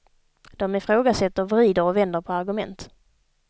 De ifrågasätter, vrider och vänder på argument.